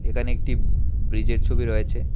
এখানে একটি ব্রিজের ছবি রয়েছে।